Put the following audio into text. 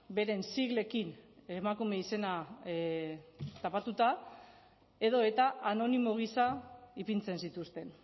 beren siglekin emakume izena tapatuta edo eta anonimo gisa ipintzen zituzten